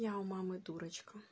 я у мамы дурочка